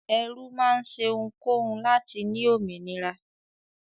Ẹrú máa ṣe ohunkóhun láti ní òmìnira.